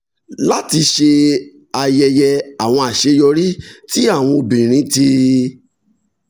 láti ṣe ayẹyẹ àwọn àṣeyọrí tí àwọn obìnrin ti